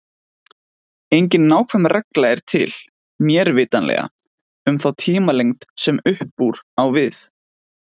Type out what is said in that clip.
Engin nákvæm regla er til, mér vitanlega, um þá tímalengd sem upp úr á við.